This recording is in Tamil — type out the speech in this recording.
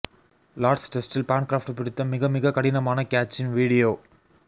லார்ட்ஸ் டெஸ்ட்டில் பான்கிராஃப்ட் பிடித்த மிக மிக கடினமான கேட்ச்சின் வீடியோ